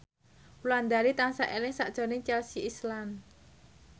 Wulandari tansah eling sakjroning Chelsea Islan